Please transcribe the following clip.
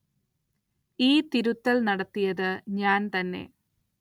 ഈ തിരുത്തല്‍ നടത്തിയത് ഞാന്‍ തന്നെ